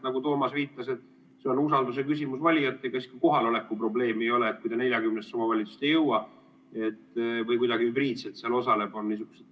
Nagu Toomas viitas, et see on valijate usalduse küsimus, siis kohaloleku probleemi ei ole, kui ta neljakümnesse omavalitsusse ei jõua või osaleb seal kuidagi hübriidselt.